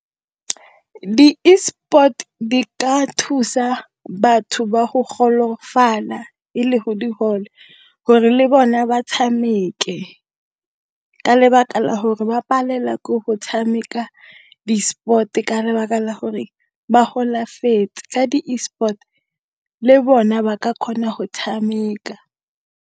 Di-e-sport di ka thusa batho ba go golofala e le go digole, gore le bona ba tshameke, ka le lebaka la gore ba palelwa ke go tshameka di-sport-e ka lebaka la gore ba golafetse. Ka di-e-sport le bona ba ka kgona go tshameka.